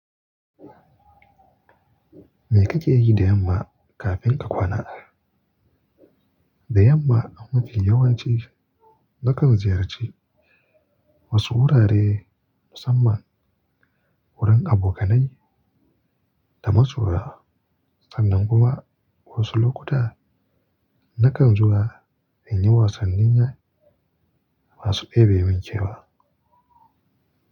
Me kake yi da yamma kafin ka kwana? Da yamma a mafi yawanci nakan ziyarci wasu wurare musamman wurin abokanai da masoya sannan kuma wasu lokuta nakan zuwa in yi wasannin masu ɗebi min kewa.